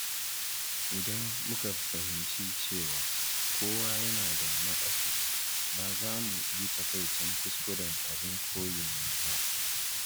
Idan muka fahimci cewa kowa yana da naƙasu, ba za mu yi takaicin kuskuren abin koyin mu ba.